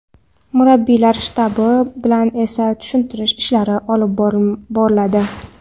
Murabbiylar shtabi bilan esa tushuntirish ishlari olib boriladi.